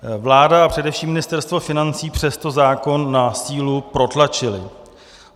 Vláda a především Ministerstvo financí přesto zákon na sílu protlačily.